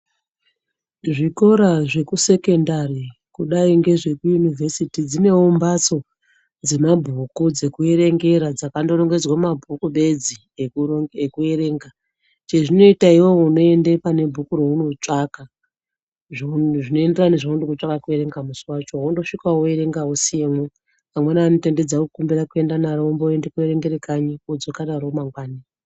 Zvikora zvekusekendari kudai ngezvekuyunivhesiti dzinevo mbatso dzemabhuku dzekuerengera dzakandorongedzwe mabhuku bedzi. ekuverenga. Chezvinoita iveve unondoenda pane bhuku raunotsvaka zvinoenderana nezvaunode kutsvaka kuverenga musi vachovo vondosvika voverenga vosiyemwo. Vamweni vanotendedza kukumbira kuenda naro vomboende koerengera kanyi vodzoka naro mangwani.